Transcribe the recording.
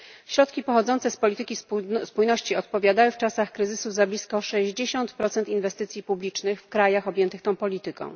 Środki pochodzące z polityki spójności odpowiadały w czasach kryzysu za blisko sześćdziesiąt procent inwestycji publicznych w krajach objętych tą polityką.